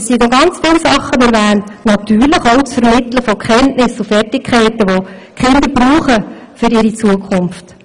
Es wird noch viel mehr erwähnt, natürlich auch das Vermitteln von Kenntnissen und Fertigkeiten, welche die Kinder für ihre Zukunft benötigen.